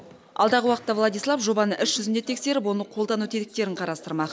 алдағы уақытта владислав жобаны іс жүзінде тексеріп оны қолдану тетіктерін қарастырмақ